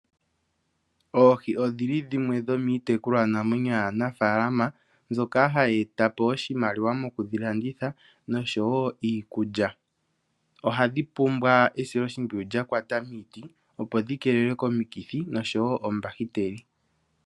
Oohi odhili dhimwe dhomitekulwa namwenyo yaanafalama mbyoka hayi eta po oshimaliwa mokudhi landitha niikulya. Ohadhi pumbwa esilo shimpwiyu lyakwata miiti opo dhi kelelwe komikithi nokombahiteli.